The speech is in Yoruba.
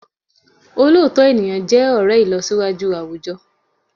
Òlóòtọ́ ènìyàn jẹ́ ọ̀rẹ́ ìlọsíwájú àwùjọ